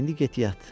İndi get yat.